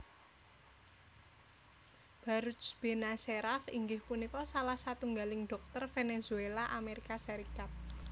Baruj Benacerraf inggih punika salah satunggaling dhokter Venezuela Amerika Serikat